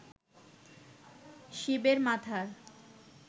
শিবের মাথার